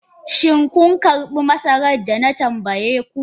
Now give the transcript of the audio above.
Shin kun girbe masarar da na tambaye ku?